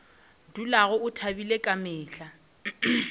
dulago a thabile ka mehla